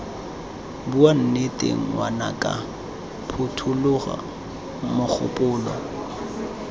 bua nnete ngwanaka phothulola mogopolo